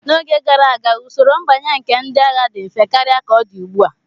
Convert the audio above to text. N'oge gara aga, usoro mbanye nke ndị agha dị mfe karịa ka ọ dị ugbu a.